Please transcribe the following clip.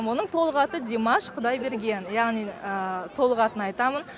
оның толық аты димаш құдайберген яғни толық атын айтамын